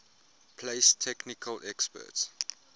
place technical experts